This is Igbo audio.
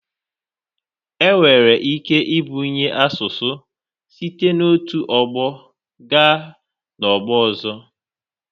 Enwere ike ibunye asụsụ site n'otu ọgbọ gaa n'ọgbọ ọzọ.